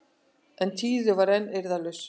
En Týri var enn eirðarlaus.